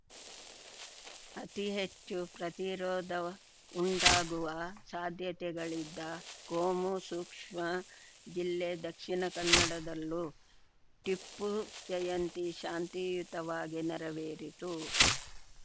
ಅತಿ ಹೆಚ್ಚು ಪ್ರತಿರೋಧವುಂಟಾಗುವ ಸಾಧ್ಯತೆಗಳಿದ್ದ ಕೋಮು ಸೂಕ್ಷ್ಮ ಜಿಲ್ಲೆ ದಕ್ಷಿಣ ಕನ್ನಡದಲ್ಲೂ ಟಿಪ್ಪು ಜಯಂತಿ ಶಾಂತಿಯುತವಾಗಿ ನೆರವೇರಿತು